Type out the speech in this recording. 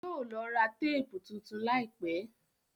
Yóò lọ ra téèpù tuntun láìpẹ́.